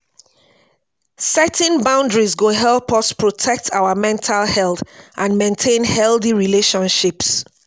setting boundaries go help us protect our mental health and maintain healthy relationships.